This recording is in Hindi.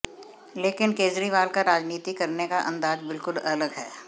लेकिन केजरीवाल का राजनीति करने का अंदाज बिलकुल अलग है